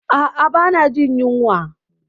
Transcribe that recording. Ah ah ba na jin yunwa